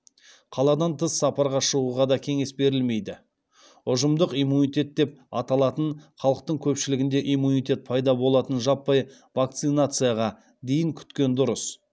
қаладан тыс сапарға шығуға да кеңес берілмейді ұжымдық иммунитет деп аталатын халықтың көпшілігінде иммунитет пайда болатын жаппай вакцинацияға дейін күткен дұрыс